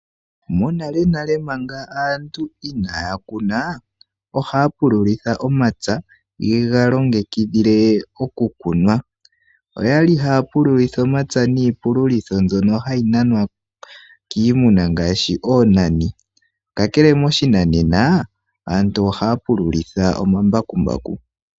Monalenale manga aantu inaya kuna, ohayayi pululitha omapya yega, longekidhile oku kuna. Oyali haya pululitha omapya niipululitho mbyono hayi nanwa kiimuna ngaashi oonani, kakele moshinanena, aantu ohaya pululitha omambakumbaku.